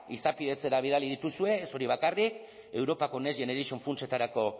izapidetzera bidali dituzue ez hori bakarrik europako next generation funtsetarako